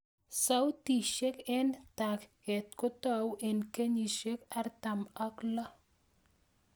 Sautishek eng' tag'et kotau eng' kenyishek artam ak loo